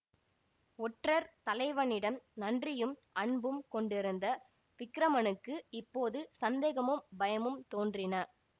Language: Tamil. ஒற்றர் தலைவனிடம் நன்றியும் அன்பும் கொண்டிருந்த விக்கிரமனுக்கு இப்போது சந்தேகமும் பயமும் தோன்றின